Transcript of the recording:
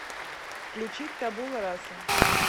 включить табула раса